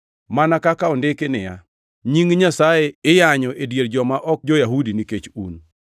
Mana kaka ondiki niya, “Nying Nyasaye iyanyo e dier joma ok jo-Yahudi nikech un.” + 2:24 \+xt Isa 52:5; Eze 36:22\+xt*